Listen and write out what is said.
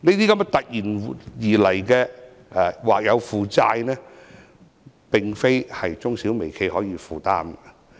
這些突如其來的或有負債，並非中小微企所能負擔。